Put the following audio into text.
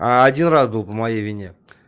а один раз был по моей вине